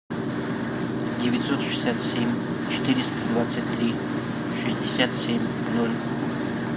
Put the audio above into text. девятьсот шестьдесят семь четыреста двадцать три шестьдесят семь ноль